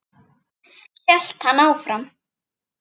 hélt hann áfram.